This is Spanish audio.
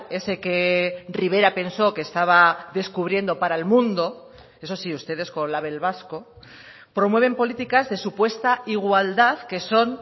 ese que rivera pensó que estaba descubriendo para el mundo eso sí ustedes con label vasco promueven políticas de supuesta igualdad que son